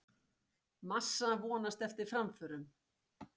Massa vonast eftir framförum